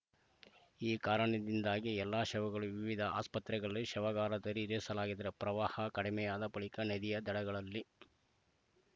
ಈ ಕಾರಣದಿಂದಾಗಿ ಎಲ್ಲ ಶವಗಳು ವಿವಿಧ ಆಸ್ಪತ್ರೆಗಳ ಶವಾಗಾರದಲ್ಲಿ ಇರಿಸಲಾಗಿದೆ ಪ್ರವಾಹ ಕಡಿಮೆಯಾದ ಬಳಿಕ ನದಿಯ ದಡಗಳಲ್ಲಿ